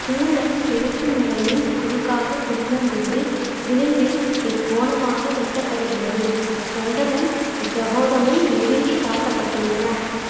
குமுதம் கிழக்கு மூலையில் குறுக்காக திரும்பும்போது விளிம்பில் இக்கோணமாக வெட்டப்படுகிறது கண்டமும் கபோதமும் நெருங்கி காட்டப்பட்டுள்ளன